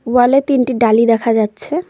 ওয়ালে তিনটি ডালি দেখা যাচ্ছে।